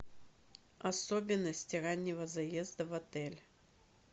особенности раннего заезда в отель